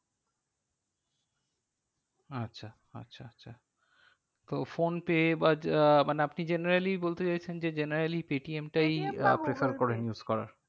আচ্ছা আচ্ছা আচ্ছা তো ফোন পে বা যা আহ মানে আপনি generally বলতে চাইছেন যে generally পেটিএম টাই আহ use করার।